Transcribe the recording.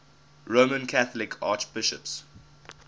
roman catholic archbishops